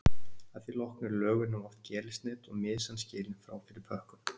að því loknu er lögunin oft gerilsneydd og mysan skilin frá fyrir pökkun